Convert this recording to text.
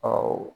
Ɔ